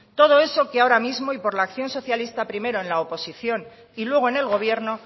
todo eso que ahora mismo y que por la acción socialista primero en la oposición y luego en el gobierno